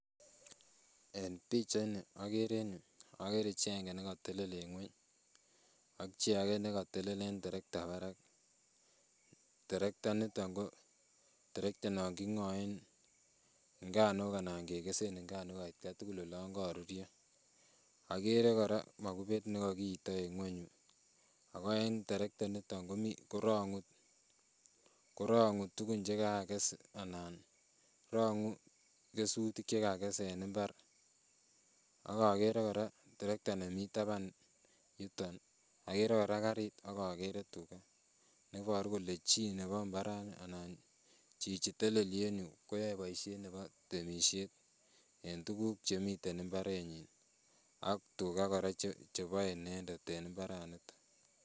eng pichai ini agere chito aenge ne kakotele eng ng'uiny ak chi age ne kako telel eng traktek parak trakret nito ko traktet ne ki ng'ae ngano anan ke kesee ngano aita tugul ole kago rurio agere kora magupeth ne kakeita ng'uiny , traktet nito ko rang'u tukuk che kakekess , anann ro'ngu kesutik che kakekes eng mbar, ako agere kora karit akere kora tuga neparu kole chi nebo mbaret ni anan chi netelelie yuu koyai boishet nebo temishet eng tuguk chemite mbaret nyi ak tuga kora chebo inendet eng mbaret nito